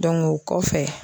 o kɔfɛ